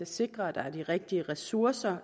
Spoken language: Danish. sikre at der er de rigtige ressourcer